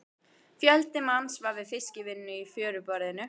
Fjöldi manns var við fiskvinnu í fjöruborðinu.